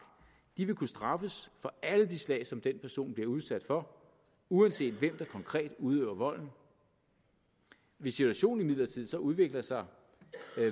vil kunne straffes for alle de slag som den person bliver udsat for uanset hvem der konkret udøver volden hvis situationen imidlertid så udvikler sig